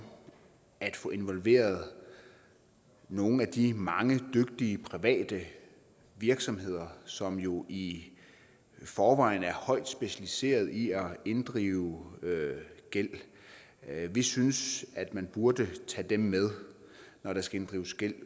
at få involveret nogle af de mange dygtige private virksomheder som jo i forvejen er højt specialiseret i at inddrive gæld vi synes at man burde tage dem med når der skal inddrives gæld